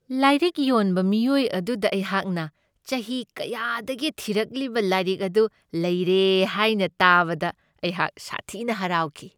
ꯂꯥꯏꯔꯤꯛ ꯌꯣꯟꯕ ꯃꯤꯑꯣꯏ ꯑꯗꯨꯗ ꯑꯩꯍꯥꯛꯅ ꯆꯍꯤ ꯀꯌꯥꯗꯒꯤ ꯊꯤꯔꯛꯂꯤꯕ ꯂꯥꯏꯔꯤꯛ ꯑꯗꯨ ꯂꯩꯔꯦ ꯍꯥꯏꯅ ꯇꯥꯕꯗ ꯑꯩꯍꯥꯛ ꯁꯥꯊꯤꯅ ꯍꯔꯥꯎꯈꯤ ꯫